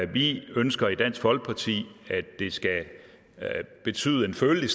vi ønsker i dansk folkeparti at det skal betyde en følelig